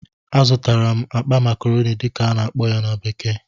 Azụtara m akpa "macaroni" dịka a na-akpọ ya na bekee